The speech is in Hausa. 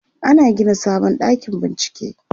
ana Gina sabon ɗakin bincike